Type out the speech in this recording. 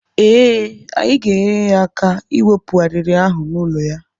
Eh, anyị ga-enyere ya aka ịwepụ arịrị ahụ n'ụlọ ya.